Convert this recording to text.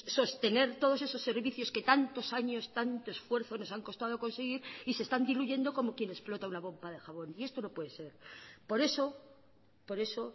sostener todos esos servicios que tantos años y tanto esfuerzo nos han costado conseguir y se están diluyendo como quien explota una pompa de jabón y esto no puede ser por eso por eso